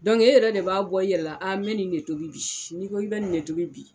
e yɛrɛ de b'a bɔ i yɛlɛ la n mɛ ni ne tobi bi ni ko i bɛ ni ne tobi bi